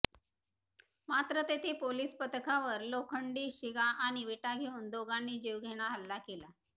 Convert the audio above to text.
मात्र तेथे पोलीस पथकावर लोखंडी शिगा आणि विटा घेऊन दोघांनी जीवघेणा हल्ला केला